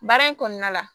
Baara in kɔnɔna la